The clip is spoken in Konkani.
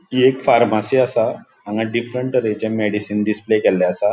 हि एक फार्मासी असा हांगा डिफ्रन्ट तर्हेचे मेडिसीन डिस्प्ले केल्ले असा.